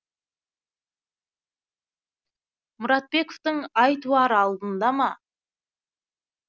мұратбековтің ай туар алдында ма